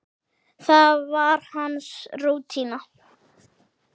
Það var hans rútína.